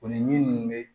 O ni min bɛ